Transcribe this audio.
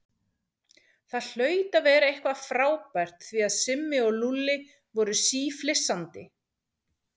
Það hlaut að vera eitthvað frábært því að Simmi og Lúlli voru síflissandi.